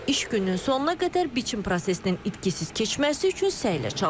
İş gününün sonuna qədər biçim prosesinin itkisiz keçməsi üçün səylə çalışır.